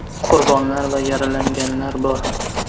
Qurbonlar va yaralanganlar bor.